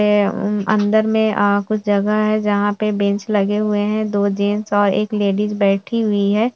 ये अन्दर मे आ कुछ जगह है जहाँ पे बेंच लगे हुए हैं दो जेंट्स और एक लेडीज बैठी हुई है।